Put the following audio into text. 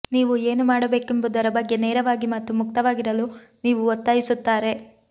ನೀವು ಏನು ಮಾಡಬೇಕೆಂಬುದರ ಬಗ್ಗೆ ನೇರವಾಗಿ ಮತ್ತು ಮುಕ್ತವಾಗಿರಲು ನೀವು ಒತ್ತಾಯಿಸುತ್ತಾರೆ